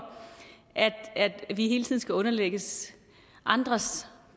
at vi hele tiden skal underlægges andres